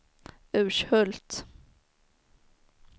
Urshult